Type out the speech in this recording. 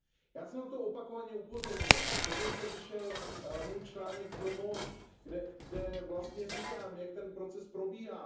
Já jsem na to opakovaně upozornil, dokonce vyšel můj článek v Le Monde kde vlastně říkám, jak ten proces probíhá.